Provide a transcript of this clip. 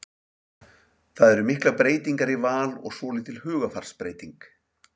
Það eru miklar breytingar í Val og svolítil hugarfarsbreyting?